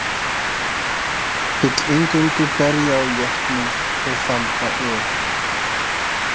Vill eingöngu berja á jötnum og þamba öl.